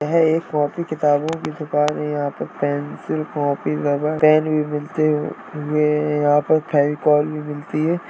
यह एक कॉपी किताबों की दुकान है | यहां पर पेंसिल कॉपी रबर पेन भी मिलते यहां पर फेविकोल भी मिलती है।